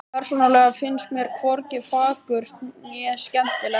Persónulega finnst mér hvorki fagurt né skemmtilegt.